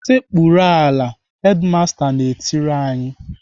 "Sekpuru ala!" Hedimasta na-etiri anyị.